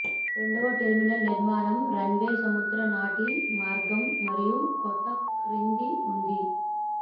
రెండవ టెర్మినల్ నిర్మాణం రన్వే సముద్ర నాటి మార్గం మరియు కొత్త క్రింద ఉంది